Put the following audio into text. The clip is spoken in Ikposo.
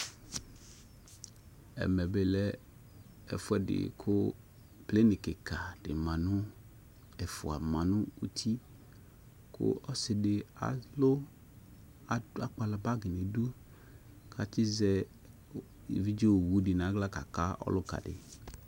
Ɛmɛ plenɩ kɩka ɛfʊa manʊ ʊtɩ kʊ ɔsɩdɩ akpala bagi nu ɩdʊ kʊ atsɩzɛ evidzeɔwʊ nʊ agla kaka ɔlʊkadɩ